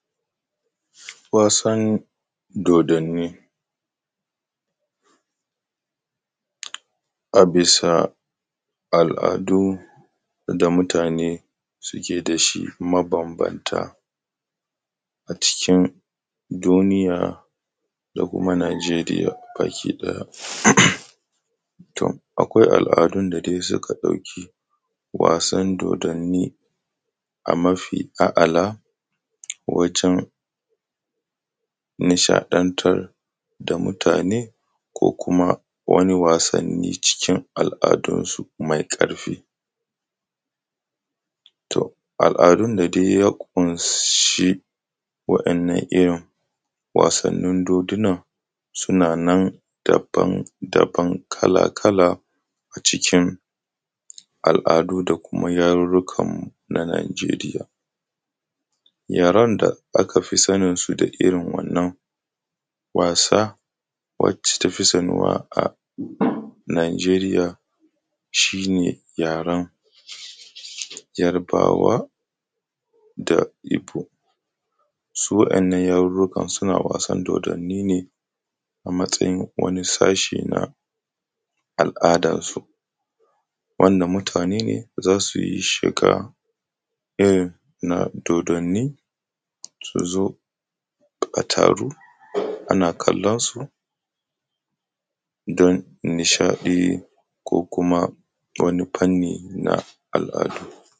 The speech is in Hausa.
Wasan dodanni. A bisa al’adu da mutane suke da shi mabambanta a cikin duniya da kuma Nigeria baki ɗaya. To akwai al’adun da dai suka ɗauki wasan dodanni a mafi a’ala wajen nishaɗantar da mutane ko kuma wani wasanni cikin al’adunsu mai ƙarfi. To al’adun da dai ya ƙunshi waɗannan irin wasannin dodunan suna nan daban daban kala kala a cikin al’adu da kuma yarurruka na Nigeria. Yaren da aka fi saninsu da irin wannan wasa wacce ta fi sanuwa a a Nigeria shi ne yaren Yarbawa da Ibo. Su waɗannan yarurrukan suna was an dodanni ne a matsayin wani sashi na al’adarsu, wanda mutane ne za su yi shiga irin na dodanni, su zo a taru ana kallonsu don nishaɗi ko kuma wani fanni na al’adu.